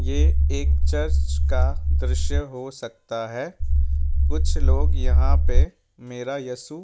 ये एक चर्च का दृश्य हो सकता है कुछ लोग यहां पे मेरा येसु --